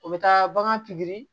O bɛ taa bagan pikiri